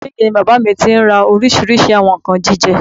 Mr Big ni bàbá mi tí ń ra oríṣìíríṣìí àwọn nǹkan jíjẹ